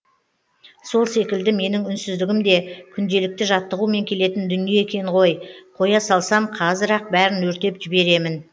сол секілді менің үнсіздігім де күнделікті жаттығумен келетін дүние екен ғой қоя салсам қазір ақ бәрін өртеп жіберемін